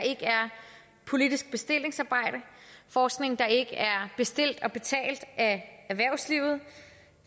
politisk bestillingsarbejde forskning der ikke er bestilt og betalt af erhvervslivet